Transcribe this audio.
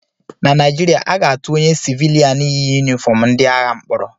Na Naijiria, aga-atụ onye sịvịlịan yi yunifọm ndị agha mkpọrọ